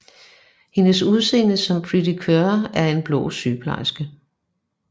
Hendes udseende som Pretty Cure er en blå sygeplejeske